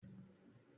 ọmọ òrukàn kìí ní òbì